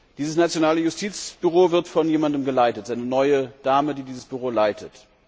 Dieses nationale Justizbüro wird von jemandem geleitet. Es ist eine neue Dame, die dieses Büro leitet.